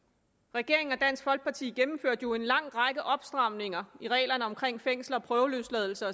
regeringen og dansk folkeparti gennemførte jo en lang række opstramninger af reglerne omkring fængsel og prøveløsladelse